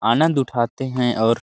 आनंद उठाते हैं और--